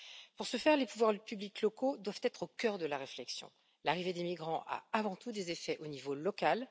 Pour ce faire, les pouvoirs publics locaux doivent être au cœur de la réflexion. L'arrivée des migrants a avant tout des effets au niveau local.